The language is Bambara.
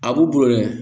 A b'u bolo dɛ